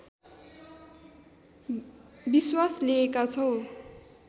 विश्वास लिएका छौँ